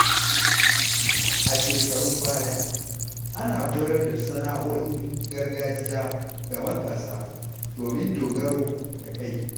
A shekarun baya, ana koyar da sana’o’in gargajiya ga matasa domin dogaro da kai.